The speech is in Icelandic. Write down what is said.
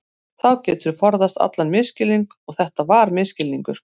Þá geturðu forðast allan misskilning og þetta var misskilningur.